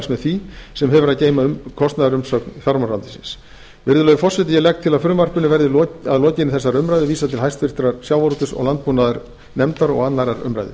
með því sem hefur að geyma kostnaðarumsögn fjármálaráðuneytisins hæstvirtur forseti ég legg til að frumvarpinu verði að lokinni þessari umræðu vísað til háttvirtrar sjávarútvegs og landbúnaðarnefndar og annarrar umræðu